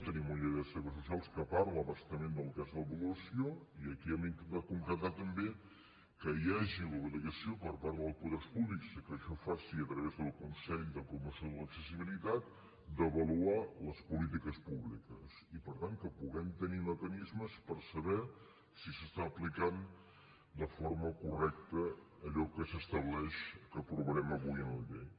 tenim una llei de serveis socials que parla a bastament del que és l’avaluació i aquí hem intentat concretar també que hi hagi l’obligació per part dels poders públics i que això es faci a través del consell de promoció de l’accessibilitat d’avaluar les polítiques públiques i per tant que puguem tenir mecanismes per saber si s’està aplicant de forma correcta allò que s’estableix que aprovarem avui en la llei